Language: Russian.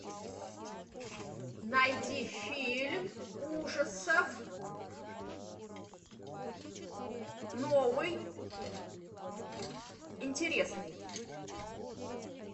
найди фильм ужасов новый интересный